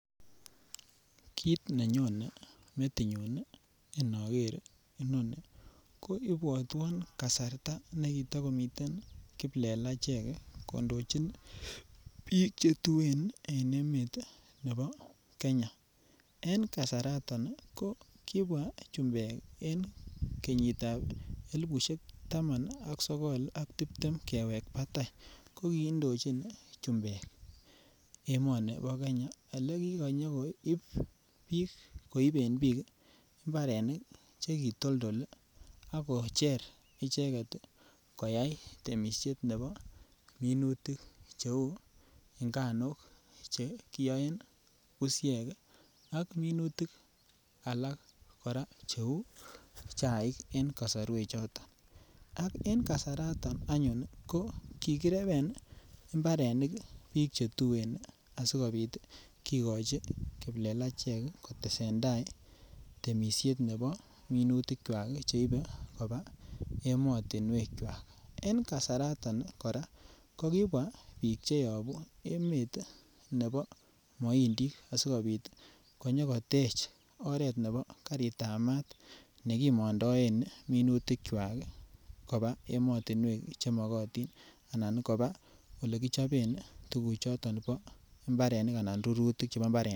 Kit nenyone metinyun inoger inoni ko ibwotwon kasarta ne kito komiten kiplelachek kondojin biik che tuen en emet nebo Keny. En kasaton ii ko kibwaa chumbek en kenyitab elipushek taman ak sogol ak tibtem kewek batai ko kiidochin chumbek emoni bo Kenya ole kikanyo koib biik koiben biik mbarenik che kitoldol ii ak kocher icheget koyay temisiet nebo minutik che uu nganuk che kiyoen bushek ak minutik alak koraa che uu chaik en kosorwek choton ak en kasaraton anyun ii ko kikireben ii imbarenik biik che tuen asikopit kigochi kiplelachek kotesen tai temisiet nebo minutikwak cheibe kobaa emotinwekwak. En kasaraton koraa kokibwa biik che yobuu emet nebo moindik asikopit konyo kotej oret nebo garitab maat nekimondoen minutikwak kobaa emotinwek che mogotin ana kobaa ole kichoben tuguk choton bo mbarenik ana rurutik chebo mbarenik .